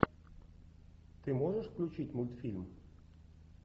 ты можешь включить мультфильм